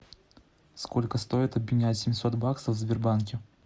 сколько стоит обменять семьсот баксов в сбербанке